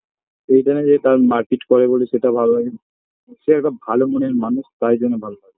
এটানা যে তারা মারপিট করে বলে সেটা ভালো লাগে সে একটা ভালো মনের মানুষ তাই জন্য ভালো লাগে